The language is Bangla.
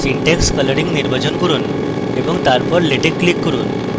syntax colouring নির্বাচন করুন এবং তারপর latex click করুন